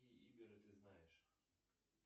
ты знаешь